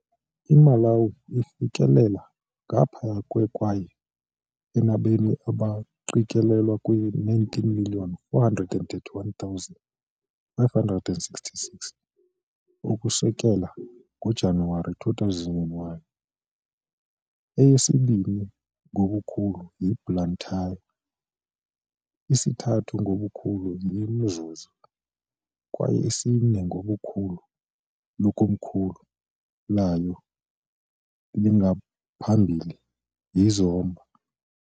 IMalawi ifikelela ngaphaya kwe kwaye inabemi abaqikelelwa kwi-19,431,566, ukusukela ngoJanuwari 2021. Eyesibini ngobukhulu yiBlantyre, isithathu ngobukhulu yiMzuzu kwaye isine ngobukhulu likomkhulu layo langaphambili, yiZomba .